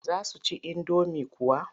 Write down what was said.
Za su ci indomin kuwa?